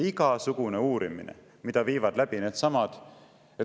Igasugune uurimine, mida viivad läbi needsamad …